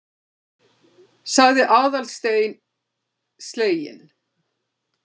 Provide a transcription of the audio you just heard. sagði Aðalsteinn sleginn.